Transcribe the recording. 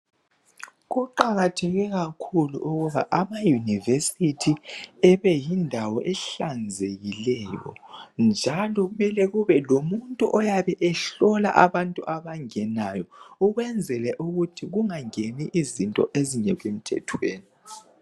Kuqakatheke kakhulu ukuba amaUniversity ebe yindawo ehlanzekileyo njalo kumele kube lomuntu oyabe ehlola abantu abangenayo ukuze kungangeni izinto ezingekho emthethweni.